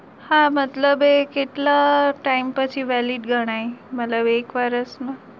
હા મતલબ એ કેટલા time પછી valid ગણાય મતલબ એક વર્ષ નું